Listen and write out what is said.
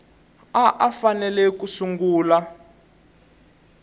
a a fanele ku sungula